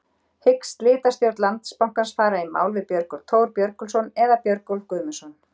Hyggst slitastjórn Landsbankans fara í mál við Björgólf Thor Björgólfsson eða Björgólf Guðmundsson?